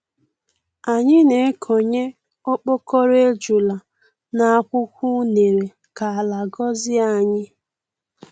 Anyị na-ekonye okpokoro ejula n'akwukwọ unere ka ala gọzie anyị.